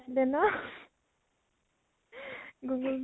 আছিলে ন? google pay